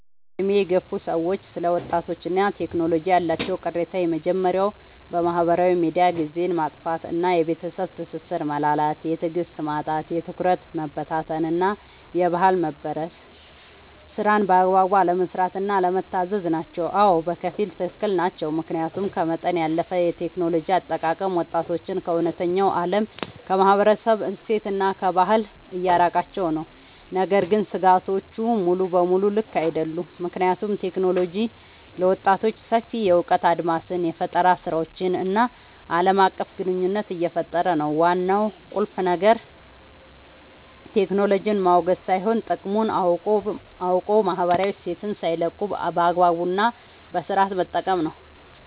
በዕድሜ የገፉ ሰዎች ስለ ወጣቶችና ቴክኖሎጂ ያላቸው ቅሬታዎች የመጀመርያው በማህበራዊ ሚዲያ ጊዜን ማጥፋት እና የቤተሰብ ትስስር መላላት። የትዕግስት ማጣት፣ የትኩረት መበታተን እና የባህል መበረዝ። ስራን በአግባቡ አለመስራት እና አለመታዘዝ ናቸው። አዎ፣ በከፊል ትክክል ናቸው። ምክንያቱም ከመጠን ያለፈ የቴክኖሎጂ አጠቃቀም ወጣቶችን ከእውነተኛው ዓለም፣ ከማህበረሰብ እሴትና ከባህል እያራቃቸው ነው። ነገር ግን ስጋቶቹ ሙሉ በሙሉ ልክ አይደሉም፤ ምክንያቱም ቴክኖሎጂ ለወጣቶች ሰፊ የእውቀት አድማስን፣ የፈጠራ ስራዎችን እና ዓለም አቀፍ ግንኙነት እየፈጠረ ነው። ዋናው ቁልፍ ነገር ቴክኖሎጂን ማውገዝ ሳይሆን፣ ጥቅሙን አውቆ ማህበራዊ እሴትን ሳይለቁ በአግባቡ እና በስነሥርዓት መጠቀም ነው።